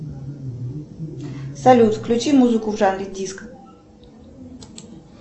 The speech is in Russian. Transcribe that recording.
салют включи музыку в жанре диско